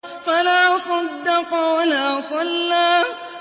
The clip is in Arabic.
فَلَا صَدَّقَ وَلَا صَلَّىٰ